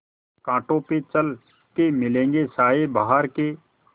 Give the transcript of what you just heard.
कांटों पे चल के मिलेंगे साये बहार के